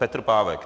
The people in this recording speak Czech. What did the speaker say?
Petr Pávek...